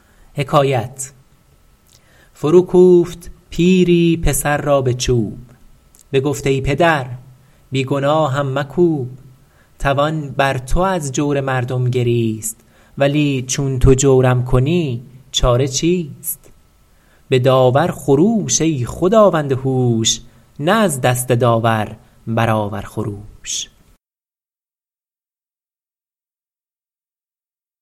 فرو کوفت پیری پسر را به چوب بگفت ای پدر بی گناهم مکوب توان بر تو از جور مردم گریست ولی چون تو جورم کنی چاره چیست به داور خروش ای خداوند هوش نه از دست داور برآور خروش